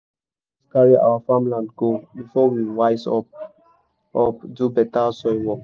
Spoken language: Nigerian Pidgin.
erosion almost carry our farmland go before we wise up up do better soil work.